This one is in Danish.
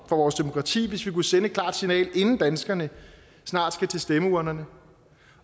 vores demokrati hvis vi kunne sende et klart signal inden danskerne snart skal til stemmeurnerne